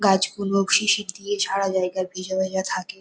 গাছগুলো শিশির দিয়ে ঝাড়া জায়গায় ভিজে ভিজে থাকে।